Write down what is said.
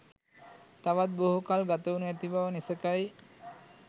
තවත් බොහෝ කල් ගතවනු ඇති බව නිසැකයි.